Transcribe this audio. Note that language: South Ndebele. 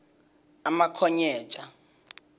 umakhonyeja